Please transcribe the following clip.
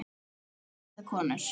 Karla eða konur.